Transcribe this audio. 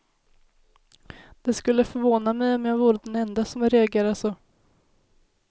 Det skulle förvåna mig om jag vore den ende som reagerar så.